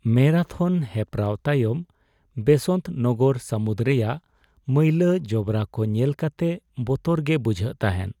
ᱢᱮᱨᱟᱛᱷᱚᱱ ᱦᱮᱯᱣᱟᱨ ᱛᱟᱭᱚᱢ ᱵᱮᱥᱚᱱᱛ ᱱᱟᱜᱟᱨ ᱥᱟᱹᱢᱩᱫ ᱨᱮᱭᱟᱜ ᱢᱟᱹᱭᱞᱟᱹ ᱡᱚᱵᱽᱨᱟ ᱠᱚ ᱧᱮᱞ ᱠᱟᱛᱮ ᱵᱚᱛᱚᱨ ᱜᱮ ᱵᱩᱡᱷᱟᱹᱜ ᱛᱟᱦᱮᱸ ᱾